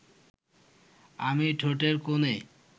আমি ঠোঁটের কোণে